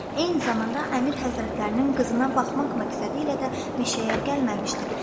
Eyni zamanda əmir həzrətlərinin qızına baxmaq məqsədilə də meşəyə gəlməmişdim.